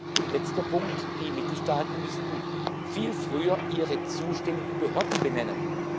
Und letzter Punkt Die Mitgliedstaaten müssten viel früher ihre zuständigen Behörden benennen.